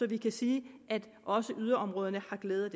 vi kan sige at også yderområderne har glæde